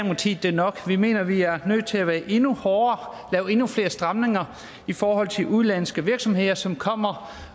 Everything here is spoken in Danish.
det er nok vi mener at vi er nødt til at være endnu hårdere og lave endnu flere stramninger i forhold til udenlandske virksomheder som kommer